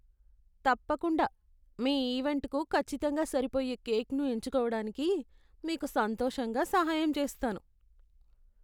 తప్పకుండా! మీ ఈవెంట్కు ఖచ్చితంగా సరిపోయే కేక్ను ఎంచుకోవడానికి మీకు సంతోషంగా సహాయం చేస్తాను.